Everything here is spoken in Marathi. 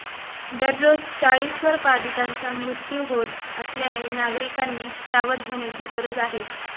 दररोज चाळीसवर बाधितांचा मृत्यू होत असल्याने नागरिकांनी सावध होण्याची गरज आहे